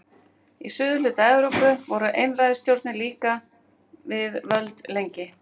Í suðurhluta Evrópu voru einræðisstjórnir líka við völd lengi vel.